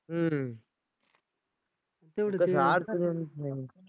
हम्म